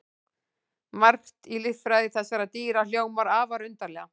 Margt í líffræði þessara dýra hljómar afar undarlega.